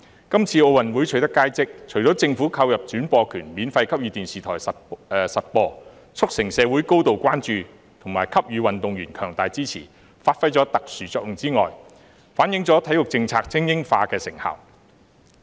今次在奧運會取得佳績，除了政府購入轉播權免費給予電視台播放，促成社會高度關注和給予運動員強大支持，發揮了特殊作用之外，亦反映體育政策精英化的成效。